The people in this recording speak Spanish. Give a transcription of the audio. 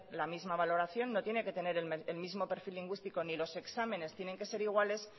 la misma valoración no tiene que tener el mismo perfil lingüístico ni los exámenes tiene que ser iguales